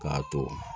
K'a to